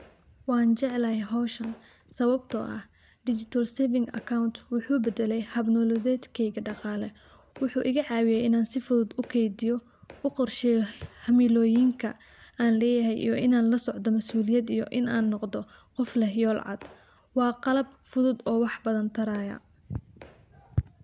Waan jeclaahay howshaan sawabtoo aah digital saving accont wuxu badaalay haab nololeedkeyka dhaqaale wuxu igaa cawiiye inaan sii fuduud uu keydiiyo uu qorsheeyo hamilooyiinka aan leyahay iyo inaan laa socdoo masuuliyad iyo inaan aan noqdoo qof leeh yool caad. waax qalaab fuduud oo wax badaan taraayo.